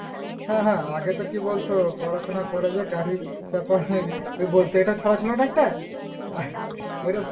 হ্যাঁ হ্যাঁ আগে তো কি বলতো পড়াশোনা করে যে গাড়ি চাপা এবলতো ইটা চোরা ছিল না একটা ওটা